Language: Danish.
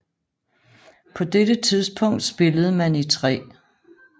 På dette tidspunkt spillede man i 3